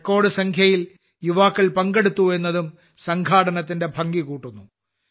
record സംഖ്യയിൽ യുവാക്കൾ പങ്കെടുത്തു എന്നതും സംഘാടനത്തിന്റെ ഭംഗി കൂട്ടുന്നു